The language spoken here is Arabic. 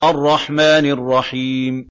الرَّحْمَٰنِ الرَّحِيمِ